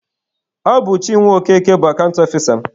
Ọ bụ Chinwe Okeke bụ akant ọfisa m.